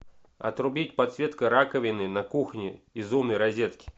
отрубить подсветка раковины на кухне из умной розетки